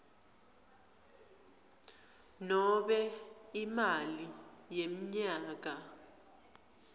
nobe imali yemnyaka